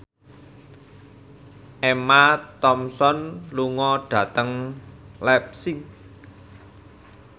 Emma Thompson lunga dhateng leipzig